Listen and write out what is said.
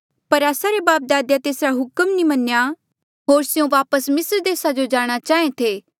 पर आस्सा रे बापदादे तेसरा हुक्म नी मन्नेया होर स्यों वापस मिस्र देसा जो जाणा चाहें थे